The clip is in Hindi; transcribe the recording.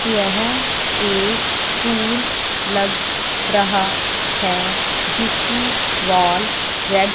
यह एक स्कूल लग रहा है जिसकी वॉल रेड --